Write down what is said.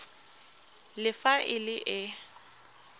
le fa e le e